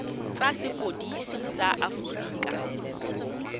tsa sepodisi sa aforika borwa